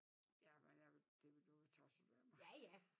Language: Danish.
Ja men det ville dog være tosset af mig